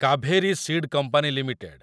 Kaveri seed company limited